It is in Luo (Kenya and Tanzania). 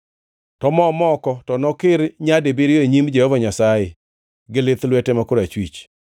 to mo moko to nokir nyadibiriyo e nyim Jehova Nyasaye gi lith lwete ma korachwich.